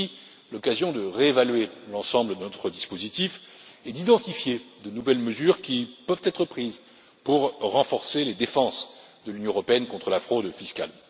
C'est aussi l'occasion de réévaluer l'ensemble de notre dispositif et d'identifier de nouvelles mesures qui peuvent être prises pour renforcer les défenses de l'Union européenne contre la fraude fiscale.